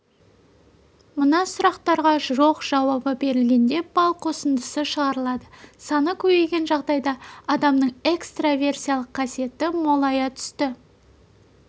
мына сұрақтарға жоқ жауабы берілгенде балл қосындысы шығарылады саны көбейген жағдайда адамның экстраверсиялық қасиеті молая түсті